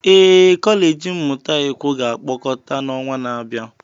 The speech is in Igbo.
Ee, kọleji mmụta ikwo ga-akpọkọta na ọnwa na-abịa.